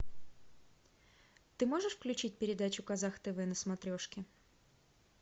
ты можешь включить передачу казах тв на смотрешке